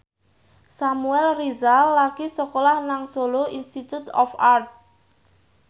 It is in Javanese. Samuel Rizal lagi sekolah nang Solo Institute of Art